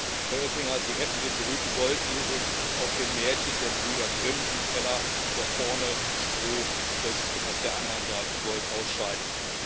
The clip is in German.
Es sei denn, Herr Oettinger, Sie hätten den berühmten Goldesel aus dem Märchen der Gebrüder Grimm im Keller, der vorne Stroh frisst und auf der anderen Seite Gold ausscheidet.